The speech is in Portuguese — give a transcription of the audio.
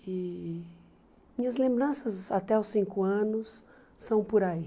E minhas lembranças até os cinco anos são por aí.